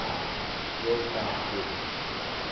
world bank group